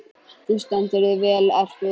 Þú stendur þig vel, Erpur!